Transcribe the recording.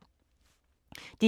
DR1